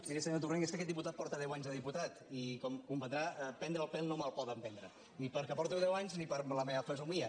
miri senyor torrent és que aquest diputat porta deu anys de diputat i com comprendrà prendre el pèl no me’l poden prendre ni perquè porto deu anys ni per la meva fesomia